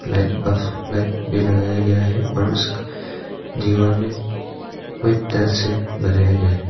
Light bulb light भी लगाया गया है और उस दीवार में वाइट टाइल्स से बनाया गया है।